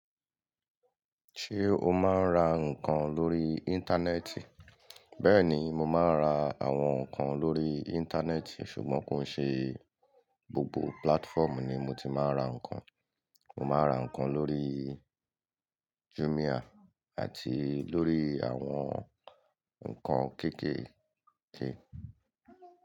Ṣé o máa ń ra nǹkan lórí Íńtánẹ́ẹ̀tì? Bẹ́ẹ̀ni, mo máa ń ra àwọn nǹkan lórí Íńtánẹ́ẹ̀tì, ṣùgbọ́n kò ṣe gbogbo púlátfọ́ọ̀mù ni mo ti máa ń ra nǹkan. Mo máa ra nǹkan lórí Jumia àti lórí àwọn nǹkan kéékèèké.